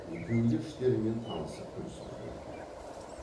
екеуі де іштерімен танысып күлісіп жіберді